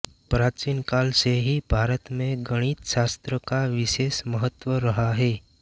प्राचीन काल से ही भारत में गणितशास्त्र का विशेष महत्व रहा है